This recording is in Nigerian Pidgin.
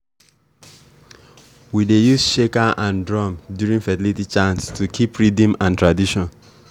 we dey use shaker and drum during fertility chants to keep rhythm and tradition.